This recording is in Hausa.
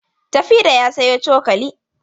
Tafida ya sayo cokali.